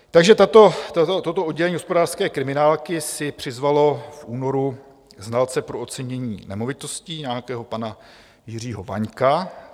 Takže toto oddělení hospodářské kriminálky si přizvalo v únoru znalce pro ocenění nemovitostí, nějakého pana Jiřího Vaňka.